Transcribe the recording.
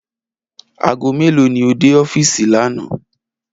Aago mélòó ni o dé ó̩fíìsì lánàá